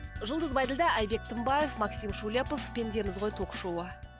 жұлдыз байділдә айбек тынбаев максим шулепов пендеміз ғой ток шоуы